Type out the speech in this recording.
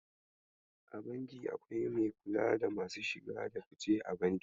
A banki akwai mai kula da masu shige da fice a banki.